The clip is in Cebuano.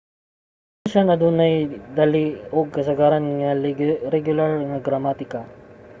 ang persiyan adunay dali ug kasagaran regular nga gramatika